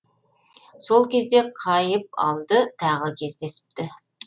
сол кезде қайыпалды тағы кездесіпті